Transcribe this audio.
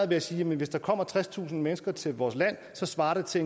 ved at sige at hvis der kommer tredstusind mennesker til vores land svarer det til